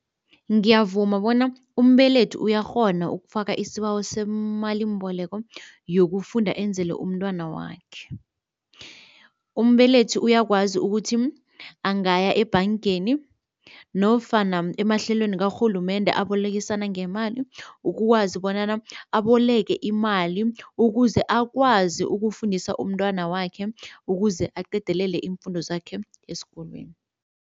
Ngiyavuma bona umbelethi uyakghona ukufaka isibawo semalimbeleko yokufunda enzele umntwana wakhe. Umbelethi uyakwazi ukuthi angaya ebhangeni nofana emahlelweni karhulumende abolekisana ngemali ukwazi bonyana aboleke imali ukuze akwazi ukufundisa umntwana wakhe ukuze aqedelele iimfundo zakhe esikolweni.